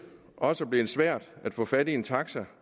også blevet svært at få fat i en taxi